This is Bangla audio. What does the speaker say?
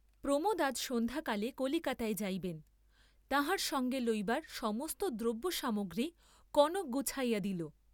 প্রমোদ আজ সন্ধ্যাকালে কলিকাতায় যাইবেন, তাঁহার সঙ্গে লইবার সমস্ত দ্রব্যসামগ্রী কনক গুছাইয়া দিল।